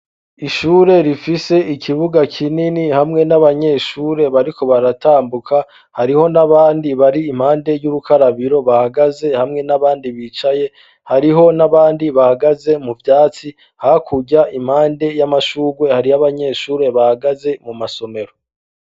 Ishure rifise ikibuga kinini hamwe n'abanyeshure bariko baratambuka hariho n'abandi bari impande y'urukarabiro bahagaze hamwe n'abandi bicaye hariho n'abandi bahagaze mu vyatsi hakurya impande y'amashurwe hari yo'abanyeshure bahagaze mu masomero.